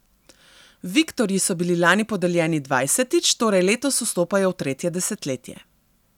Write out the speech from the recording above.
Viktorji so bili lani podeljeni dvajsetič, torej letos vstopajo v tretje desetletje.